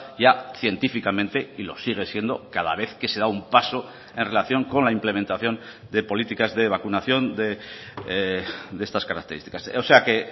ya científicamente y lo sigue siendo cada vez que se da un paso en relación con la implementación de políticas de vacunación de estas características o sea que